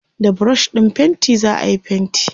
da brush ɗin fainti zaayi fainti